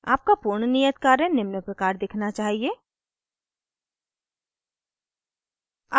आपका पूर्ण नियत कार्य निम्न प्रकार दिखना चाहिए